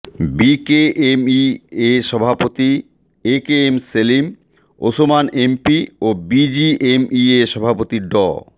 BKMEA সভাপতি AKM Selim Osman MP ও BGMEA সভাপতি ড